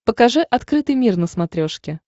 покажи открытый мир на смотрешке